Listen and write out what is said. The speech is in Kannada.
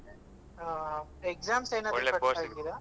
ಹಾ exams ಏನಾದ್ರು Pass ಮಾಡಿದ್ದೀರಾ ?